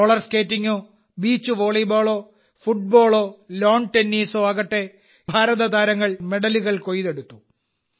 roller സ്കേറ്റിംഗോ beach വോളിബോളോ ഫുട്ബോളോ ലാൺ ടെന്നീസോ ആകട്ടെ ഇന്ത്യൻ കളിക്കാർ മെഡലുകൾ കൊയ്തെടുത്തു